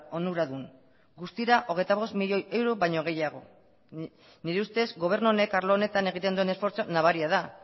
onuradun guztira hogeita hamabost milioi euro baino gehiago nire ustez gobernu honek arlo honetan egiten duen esfortzua nabaria da